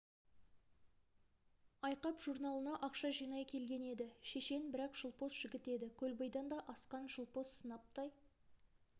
айқап журналына ақша жинай келген еді шешен бірақ жылпос жігіт еді көлбайдан да асқан жылпос сынаптай